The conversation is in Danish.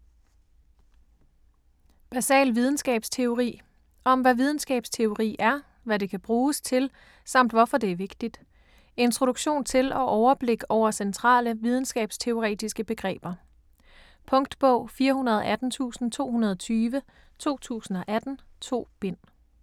Basal videnskabsteori Om hvad videnskabteori er, hvad det kan bruges til samt hvorfor det er vigtigt. Introduktion til og overblik over centrale videnskabsteoretiske begreber. Punktbog 418220 2018. 2 bind.